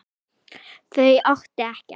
Þau áttu ekkert.